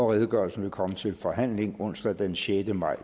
redegørelsen vil komme til forhandling onsdag den sjette maj